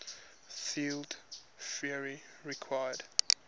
field theory requires